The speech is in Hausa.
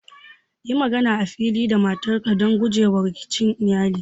Yi magana a fili da matarka don guje wa rikicin iyali.